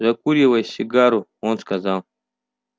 закуривая сигару он сказал